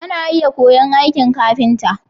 Ana iya koya'n aikin ƙafinta.